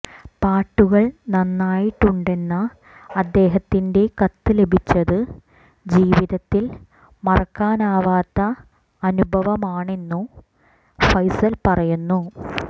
പാട്ടുകൾ നന്നായിട്ടുണ്ടെന്ന അദ്ദേഹത്തിന്റെ കത്ത് ലഭിച്ചത് ജീവിതത്തിൽ മറക്കാനാവാത്ത അനുഭവമാണെന്നു ഫൈസൽ പറയുന്നു